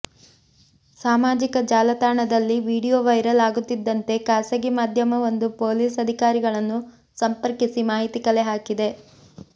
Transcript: ಸಾಮಾಜಿಕ ಜಾಲತಾಣದಲ್ಲಿ video viral ಆಗುತ್ತಿದ್ದಂತೆ ಖಾಸಗಿ ಮಾಧ್ಯಮವೊಂದು ಪೊಲೀಸ್ ಅಧಿಕಾರಿಗಳನ್ನು ಸಂಪರ್ಕಿಸಿ ಮಾಹಿತಿ ಕಲೆ ಹಾಕಿದೆ